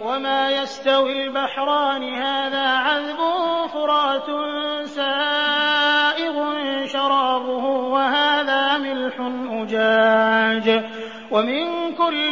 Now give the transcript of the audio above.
وَمَا يَسْتَوِي الْبَحْرَانِ هَٰذَا عَذْبٌ فُرَاتٌ سَائِغٌ شَرَابُهُ وَهَٰذَا مِلْحٌ أُجَاجٌ ۖ وَمِن كُلٍّ